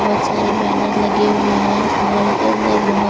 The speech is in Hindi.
बहोत सारे बैनर लगे हुए हैं इस मॉल के अंदर बहुत --